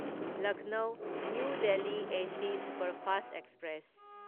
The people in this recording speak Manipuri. Lucknow new Delhi AC superfast express